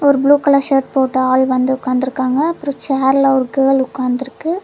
ஒரு blue colour shirt போட்டு ஆள் வந்து உக்காந்திருக்காங்க அப்றொ சேர்ல ஒரு கேர்ள் உக்காந்திருக்கு.